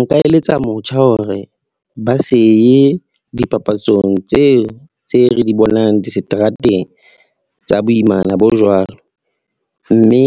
Nka eletsa motjha hore ba se ye dipapatsong tseo tse re di bonang diseterateng tsa boimana bo jwalo, mme